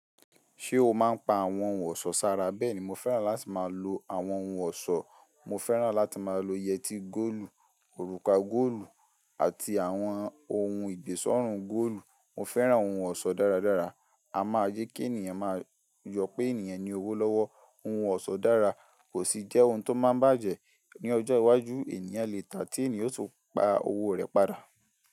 Ae o máa ń pa àwọn ohun ọ̀ṣọ́ sí ara. Bẹ́ẹ̀ni, mo fẹ́ràn láti máa lo àwọn ohun ọ̀ṣọ́, mo fẹ́ràn láti máa lo yẹtí góòlù, òrùka góòlù àti àwọn ohun ìgbésọ̀rọ̀ góòlù. Mo fẹ́ràn ohun ọ̀ṣọ́ dáradára. A máa jẹ kí ènìyàn máa jọ pé ènìyàn ní owó lọ́wọ́. Ohun ọ̀ṣọ́ dára kò sì jẹ́ ohun tó máa ń bàjẹ́. Ni ọjọ́ iwájú, ènìyàn lè tà á tí ènìyàn yóò tún pa owó rẹ̀ padà.